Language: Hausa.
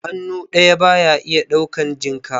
Hannu ɗaya ba ya ɗaukan jinka.